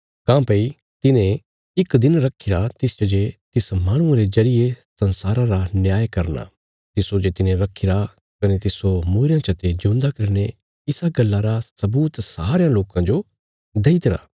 काँह्भई तिने इक दिन रखीरा तिसच जे तिस माहणुये रे जरिये संसारा रा न्याय करना तिस्सो जे तिने रखीरा कने तिस्सो मूईरेयां चते ज्यूंदा करीने इसा गल्लां रा सबूत सारयां लोकां जो देईतरा